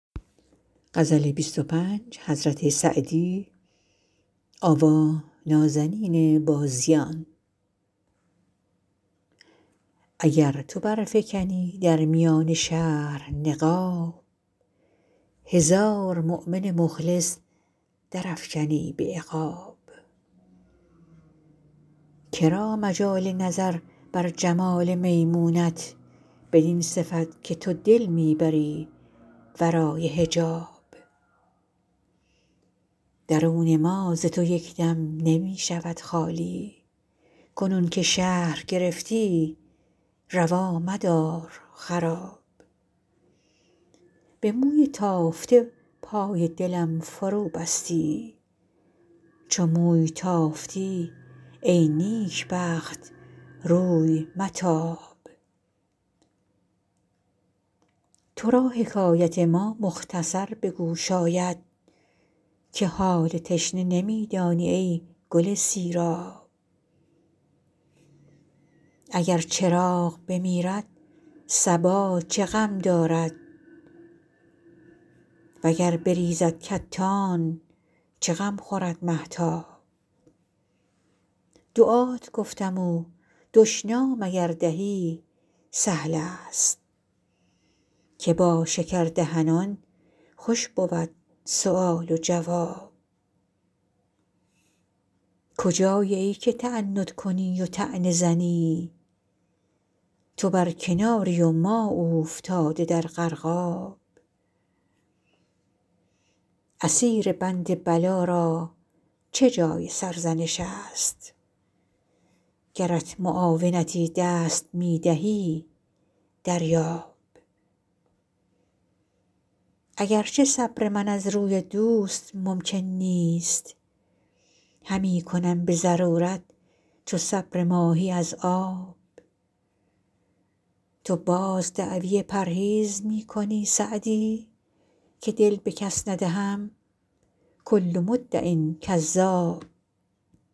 اگر تو برفکنی در میان شهر نقاب هزار مؤمن مخلص درافکنی به عقاب که را مجال نظر بر جمال میمونت بدین صفت که تو دل می بری ورای حجاب درون ما ز تو یک دم نمی شود خالی کنون که شهر گرفتی روا مدار خراب به موی تافته پای دلم فروبستی چو موی تافتی ای نیکبخت روی متاب تو را حکایت ما مختصر به گوش آید که حال تشنه نمی دانی ای گل سیراب اگر چراغ بمیرد صبا چه غم دارد و گر بریزد کتان چه غم خورد مهتاب دعات گفتم و دشنام اگر دهی سهل است که با شکردهنان خوش بود سؤال و جواب کجایی ای که تعنت کنی و طعنه زنی تو بر کناری و ما اوفتاده در غرقاب اسیر بند بلا را چه جای سرزنش است گرت معاونتی دست می دهد دریاب اگر چه صبر من از روی دوست ممکن نیست همی کنم به ضرورت چو صبر ماهی از آب تو باز دعوی پرهیز می کنی سعدی که دل به کس ندهم کل مدع کذاب